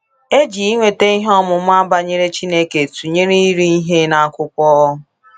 E ji inweta ihe ọmụma banyere Chineke tụnyere iri ihe n’akwụkwọ.